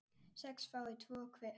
sex fái tvo hver